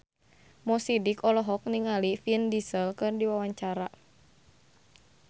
Mo Sidik olohok ningali Vin Diesel keur diwawancara